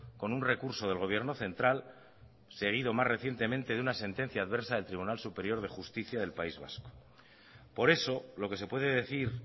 con un recurso del gobierno central seguido más recientemente de una sentencia adversa del tribunal superior de justicia del país vasco por eso lo que se puede decir